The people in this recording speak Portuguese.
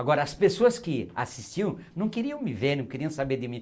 Agora, as pessoas que assistiam não queriam me ver, não queriam saber de mim.